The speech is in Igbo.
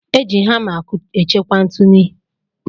Eji hama e chekwa ntụnu.